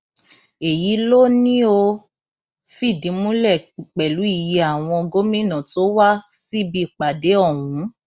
èyí ló ní ó fìdí múlẹ pẹlú iye àwọn gómìnà tó wá síbi ìpàdé ọhún